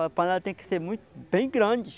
A panela tem que ser muito, bem grande.